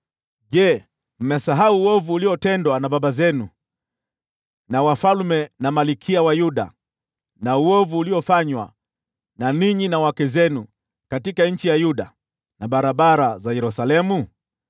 Je, mmesahau uovu uliotendwa na baba zenu, na wafalme na malkia wa Yuda, na uovu uliofanywa na ninyi na wake zenu katika nchi ya Yuda na barabara za Yerusalemu?